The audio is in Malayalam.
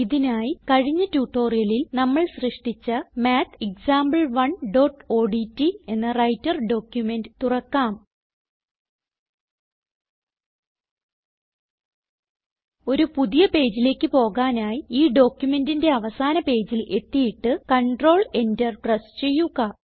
ഇതിനായി കഴിഞ്ഞ ട്യൂട്ടോറിയലിൽ നമ്മൾ സൃഷ്ടിച്ച mathexample1ഓഡ്റ്റ് എന്ന വ്രൈട്ടർ ഡോക്യുമെന്റ് തുറക്കാം ഒരു പുതിയ പേജിലേക്ക് പോകാനായി ഈ ഡോക്യുമെന്റിന്റെ അവസാന പേജിൽ എത്തിയിട്ട് കണ്ട്രോൾ Enter പ്രേസ്സ് ചെയ്യുക